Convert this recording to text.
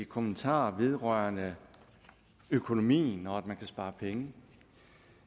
kommentarer vedrørende økonomien og om at man kan spare penge